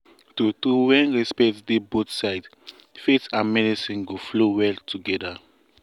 true true when respect dey both sides faith and medicine go flow well together.